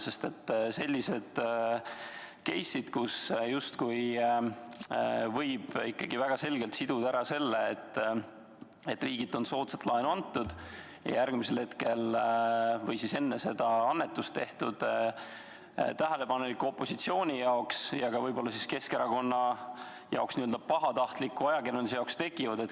Paraku sellised case'id, kus justkui võib ikkagi väga selgelt siduda ära selle, et riigilt on soodsat laenu saadud ja järgmisel hetkel või enne seda on annetus tehtud, tähelepaneliku opositsiooni silmis ja ka Keskerakonna arvates pahatahtliku ajakirjanduse silmis tekivad.